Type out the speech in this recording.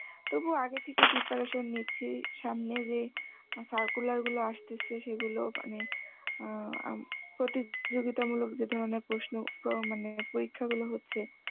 তবু আগে থেকে preparation নিচ্ছি, সামনে যে circular গুলো আসতেছে সেগুলো মানে অ্যাঁ আম প্রতিযোগিতামূলক যে ধরনের প্রশ্ন অ্যাঁ মনে পরীক্ষাগুলো হচ্ছে